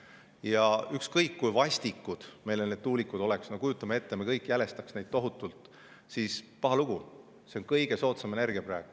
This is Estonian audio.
Ja ükskõik kui vastikud tuulikud meile on, no kujutame ette, et me kõik jälestame neid tohutult – paha lugu, aga see on kõige soodsam energia praegu.